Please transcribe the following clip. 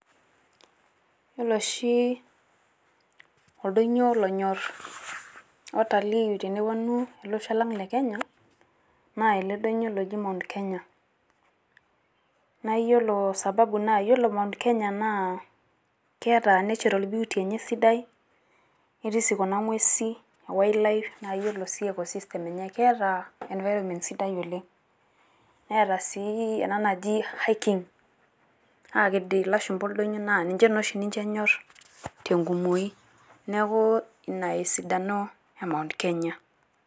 wore oshi oldonyo onyorr watalii eneponu ele donyo lang le kenya naa mount kenya nawore sababu naa keta natural beauty enye kesidai wildlife ketaa environment sidai oleng netaa sii hiking akeed ilashumba oldonyo naninye noshi ninje enyor enkumoi neaku ina esidano emount kenya